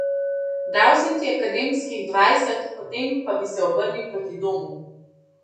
Dal sem ti akademskih dvajset, potem pa bi se obrnil proti domu.